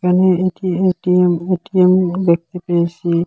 এ এটি A T M A T M ঘর দেখতে পেয়েসি।